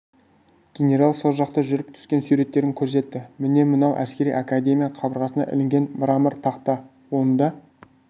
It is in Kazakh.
генерал сол жақта жүріп түскен суреттерін көрсетті міне мынау әскери академия қабырғасына ілінген мрамор тақта онда